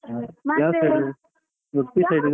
Udupi side